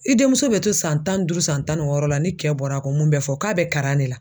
I denmuso bɛ to san tan ni duuru san tan ni wɔɔrɔ la ni kɛ bɔra ko mun bɛ fɔ k'a bɛ karan de la.